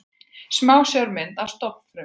Smásjármynd af stofnfrumu.